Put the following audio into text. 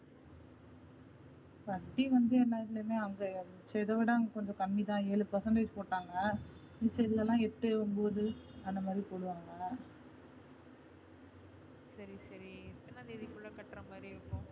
சரி சரி எத்தனா தேதி குள்ள கட்டுறமாதிரி இருக்கும்.